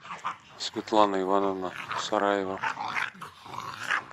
светлана ивановна сараева